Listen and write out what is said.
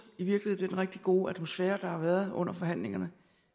i virkeligheden rigtig gode atmosfære der har været under forhandlingerne